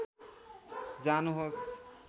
जानुहोस्